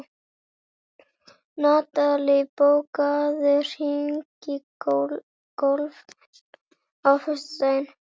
Natalí, bókaðu hring í golf á föstudaginn.